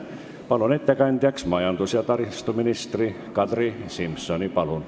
Palun ettekandeks kõnetooli majandus- ja taristuminister Kadri Simsoni!